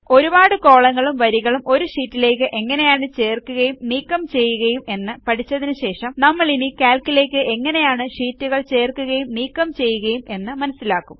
ഒരുപാട് കോളങ്ങളും വരികളും ഒരു ഷീറ്റിലേയ്ക്ക് എങ്ങനെയാണ് ചേർക്കുകയും നീക്കം ചെയ്യുകയും എന്ന് പഠിച്ചതിന് ശേഷം നമ്മളിനി കാൽക്ക് ലേയ്ക്ക് എങ്ങനെയാണ് ഷീറ്റുകൾ ചേർക്കുകയും നീക്കം ചെയ്യുകയും എന്ന് മനസ്സിലാക്കും